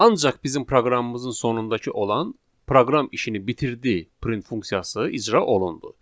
Ancaq bizim proqramımızın sonundakı olan proqram işini bitirdi print funksiyası icra olundu.